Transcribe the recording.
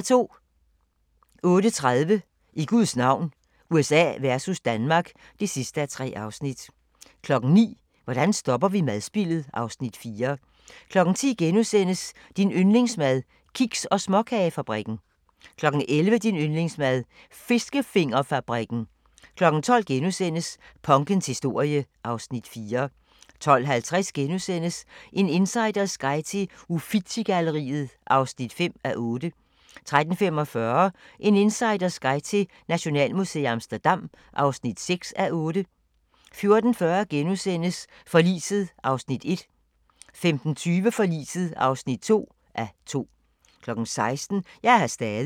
08:30: I Guds navn – USA versus Danmark (3:3) 09:00: Hvordan stopper vi madspildet? (Afs. 4) 10:00: Din yndlingsmad: Kiks- og småkagefabrikken * 11:00: Din yndlingsmad: Fiskefingerfabrikken 12:00: Punkens historie (Afs. 4)* 12:50: En insiders guide til Uffizi-galleriet (5:8)* 13:45: En insiders guide til Nationalmuseet i Amsterdam (6:8) 14:40: Forliset (1:2)* 15:20: Forliset (2:2) 16:00: Jeg er her stadig